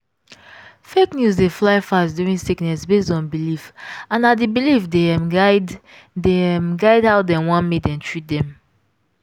fake news dey fly fast during sickness based on belief and na the belief dey um guide dey um guide how dem want make dem treat dem.